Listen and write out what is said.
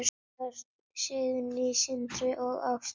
Börn: Signý, Sindri og Ástrós.